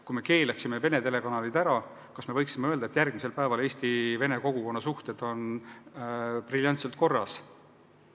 Kui me keelaksime Vene telekanalid ära, kas me võiksime öelda, et järgmisel päeval eesti ja vene kogukonna suhted on briljantselt korras?